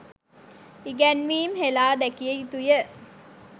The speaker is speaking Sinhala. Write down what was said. ඉගැන්වීම් හෙළා දැකිය යුතුය.